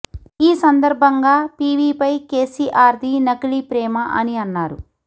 ఈ సందర్బంగా పీవీపై కేసీఆర్ ది నకిలీ ప్రేమ అని అన్నారు